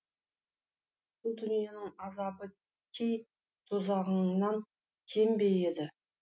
бұл дүниенің азабы кей тозағыңнан кем бе еді